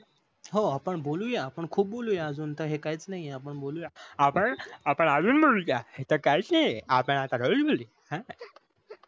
हो आपण बोलूय, खूप बोलून अजून हे काहीच नाही आपण बोलूया आपण आपण अजून बोलूया हे तच कहो च नाही आहे आता अह